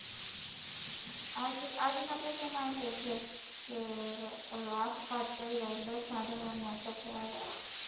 આજ ના પેપરમાં એ કેસે કે આપઘાત કઈરો દસમા ધોરણ ના છોકરાએ